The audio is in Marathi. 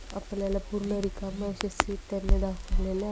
आपल्याला पूर्ण रिकाम्या अशा सीट त्यांनी दाखवलेल्या---